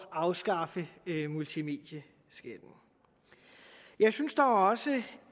afskaffe multimedieskatten jeg synes dog også